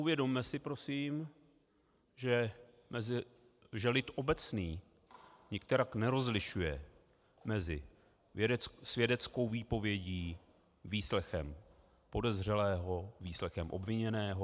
Uvědomme si prosím, že lid obecný nikterak nerozlišuje mezi svědeckou výpovědí, výslechem podezřelého, výslechem obviněného.